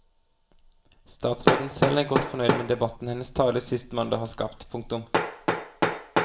Statsråden selv er godt fornøyd med debatten hennes tale sist mandag har skapt. punktum